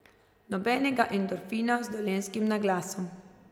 Nobenega endorfina z dolenjskim naglasom.